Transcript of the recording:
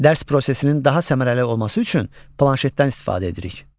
Dərs prosesinin daha səmərəli olması üçün planşetdən istifadə edirik.